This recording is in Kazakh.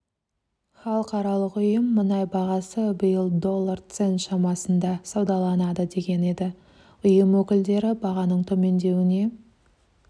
халықаралық ұйым мұнай бағасы биыл доллар цент шамасында саудаланады деген еді ұйым өкілдері бағаның төмендеуіне